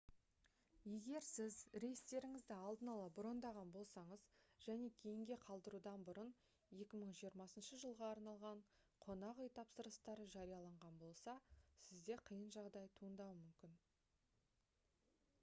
егер сіз рейстеріңізді алдын ала брондаған болсаңыз және кейінге қалдырудан бұрын 2020 жылға арналған қонақ үй тапсырыстары жарияланған болса сізде қиын жағдай туындауы мүмкін